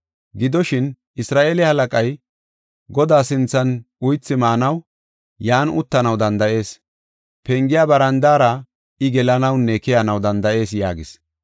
Gidoshin, Isra7eele halaqay, Godaa sinthan uythi maanaw yan uttanaw danda7ees. Pengiya barandaara I gelanawunne keyanaw danda7ees” yaagis.